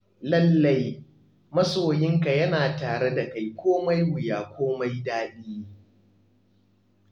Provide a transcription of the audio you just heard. Lallai, masoyinka yana tare da kai komai wuya komai daɗi.